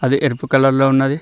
అది ఎరుపు కలర్ లో ఉన్నది.